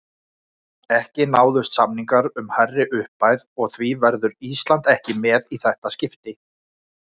Ekki náðust samningar um hærri upphæð og því verður Ísland ekki með í þetta skipti.